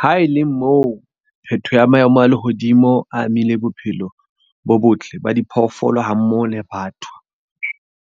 Ha e le moo phetoho ya maemo a lehodimo a amile bophelo bo botle ba diphoofolo, ha mmoho le batho,